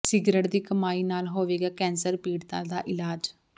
cigarette ਦੀ ਕਮਾਈ ਨਾਲ ਹੋਵੇਗਾ ਕੈਂਸਰ ਪੀੜਤਾਂ ਦਾ ਇਲਾਜ